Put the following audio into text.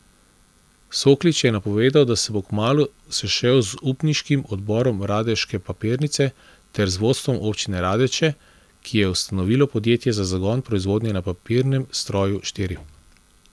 Soklič je napovedal, da se bo kmalu sešel z upniškim odborom radeške papirnice ter z vodstvom občine Radeče, ki je ustanovilo podjetje za zagon proizvodnje na papirnem stroju štiri.